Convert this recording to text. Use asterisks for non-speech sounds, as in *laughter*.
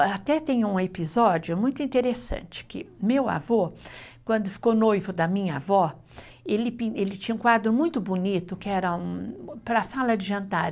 Até tem um episódio muito interessante, que meu avô, quando ficou noivo da minha avó, ele *unintelligible* tinha um quadro muito bonito, que era um para a sala de jantar.